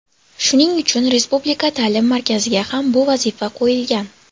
Shuning uchun Respublika ta’lim markaziga ham bu vazifa qo‘yilgan.